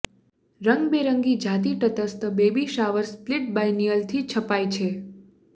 રંગબેરંગી જાતિ તટસ્થ બેબી શાવર સ્પ્લિટ બાયનિયલથી છપાય છે